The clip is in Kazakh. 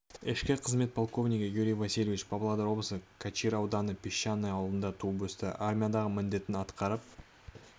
ішкі қызмет полковнигі юрий васильевич павлодар облысы качир ауданының песчаное ауылында туып өсті армиядағы міндетін атқарып